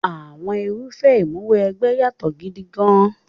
Àwọn irúfẹ́ Ìmúw'ẹgbẹ́ yàtọ̀ gidi gan-an.